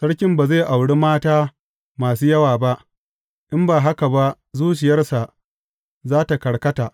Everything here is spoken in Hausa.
Sarkin ba zai auri mata masu yawa ba, in ba haka ba zuciyarsa za tă karkata.